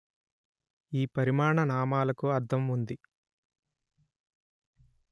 ఈ పరిమాణ నామాలకు అర్థం ఉంది